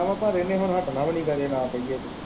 ਪਰ ਇਹਨੇ ਹੁਣ ਹੱਟਣਾ ਵੀ ਨਹੀਂ ਕੀ ਕਰੀਏ ਨਾ ਕਹੀਏ ਤੇ।